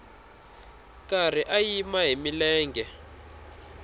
karhi a yima hi milenge